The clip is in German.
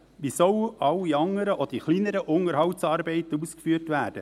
Wie sollen so alle anderen, auch die kleineren Unterhaltsarbeiten, ausgeführt werden?